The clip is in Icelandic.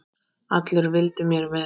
Allir vildu mér vel.